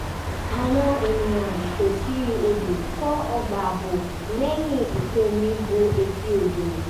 àwọn ènìyàn tòsí odò kọ́ ọgbà ààbò lẹ́yìn ìkún omi bo etí odò